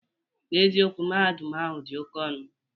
N'eziokwu, Mahadum ahụ dị oke ọnọ